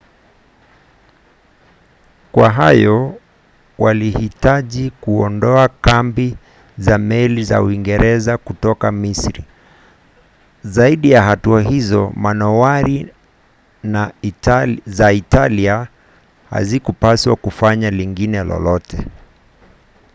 kwa hayo walihitaji kuondoa kambi na meli za uingereza kutoka misri. zaidi ya hatua hizo manowari za italia hazikupaswa kufanya lingine lolote